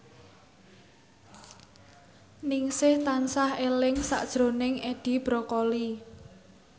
Ningsih tansah eling sakjroning Edi Brokoli